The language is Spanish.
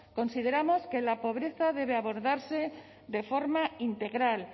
consideramos que la pobreza debe abordarse de forma integral